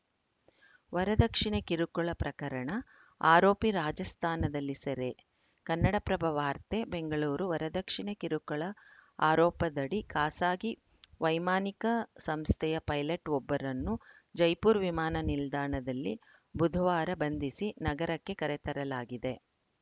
ವರದಕ್ಷಿಣೆ ಕಿರುಕುಳ ಪ್ರಕರಣ ಆರೋಪಿ ರಾಜಸ್ಥಾನದಲ್ಲಿ ಸೆರೆ ಕನ್ನಡಪ್ರಭ ವಾರ್ತೆ ಬೆಂಗಳೂರು ವರದಕ್ಷಿಣೆ ಕಿರುಕುಳ ಆರೋಪದಡಿ ಖಾಸಗಿ ವೈಮಾನಿಕ ಸಂಸ್ಥೆಯ ಪೈಲಟ್‌ವೊಬ್ಬರನ್ನು ಜೈಪುರ ವಿಮಾನ ನಿಲ್ದಾಣದಲ್ಲಿ ಬುಧವಾರ ಬಂಧಿಸಿ ನಗರಕ್ಕೆ ಕರೆತರಲಾಗಿದೆ